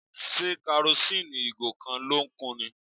Ṣé karosíìnì ìgò kan ló kù ni?